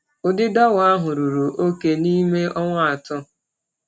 Ụdị dawa ahụ ruru oke n’ime ọnwa atọ.